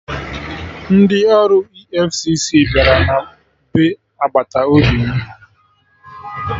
Ndị ọrụ EFCC bịara na be agbata obi m